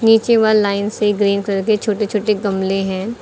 नीचे one line से green colour के छोटे छोटे गमले हैं।